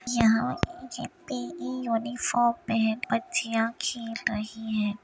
यहाँ G P. E uniform पहनकर बच्चियाँ खेल रही हैं।